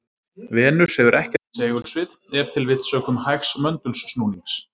Venus hefur ekkert segulsvið, ef til vill sökum hægs möndulsnúnings.